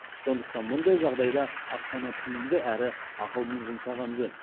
сондықтан мұндай жағдайда ақшаны тиімді әрі ақылмен жұмсаған жөн